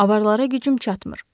Avarlara gücüm çatmır.